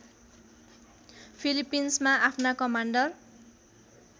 फिलिपिन्समा आफ्ना कमान्डर